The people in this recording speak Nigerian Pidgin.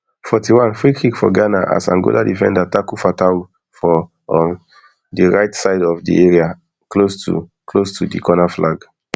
forty-one freekick for ghana as angola defender tackle fatawu for um di right side of di area close to close to di corner flag